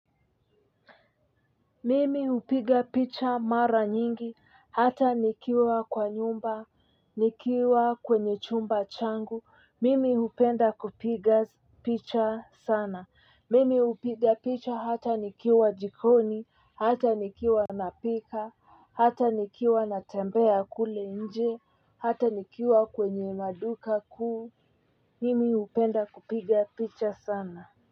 Mimi hupiga picha mara nyingi, hata nikiwa kwa nyumba, nikiwa kwenye chumba changu, mimi hupenda kupiga picha sana, mimi hupiga picha hata nikiwa jikoni, hata nikiwa napika, hata nikiwa natembea kule nje, hata nikiwa kwenye madukakuu, mimi hupenda kupiga picha sana.